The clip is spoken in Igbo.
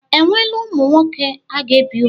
Enweela ụmụ nwoke a ga-ebi ùgwù?